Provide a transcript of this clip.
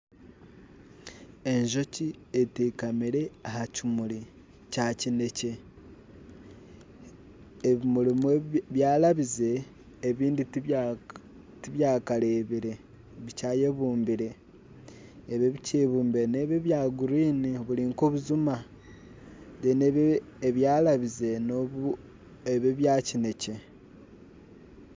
Enjoki etekamire aha kimuri kya kinekye. Ebimuri ebimwe byarabize, ebindi tibyakarebire bikyayebumbire. Ebi ebikyebumbire nebi ebya gurini ebiri nka obujuma rero ebyarabize neebi ebya kinekye